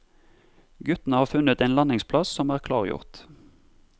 Guttene har funnet en landingsplass som er klargjort.